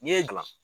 N'i ye gan